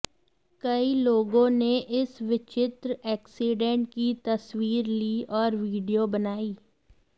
कई लोगों ने इस विचित्र एक्सीडेंट की तस्वीर ली और वीडियो बनाई